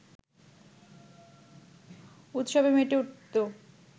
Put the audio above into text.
উৎসবে মেতে উঠতো